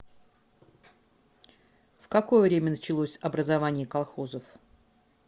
в какое время началось образование колхозов